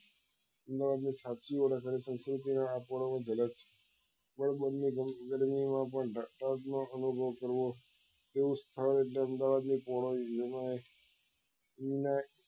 અમદાવાદ ની સાચી ઓળખણ શું છે તેની આ એક જલક છે કલકલતી ગરમી માં પણ નો અનુભવ કરવો તે સ્થળ એટલે અમદાવાદ નું પૂર્ણ વિનાયક